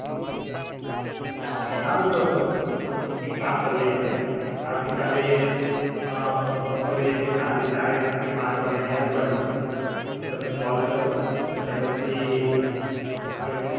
સારું તો એક કામ કરિએ આપડે આવતી કાલે અ બપોરે કે સાંજે ચાર એક કે પાંચ વાગ્યા ની આજુ બાજુ તમને call કરું અને પછી આપડે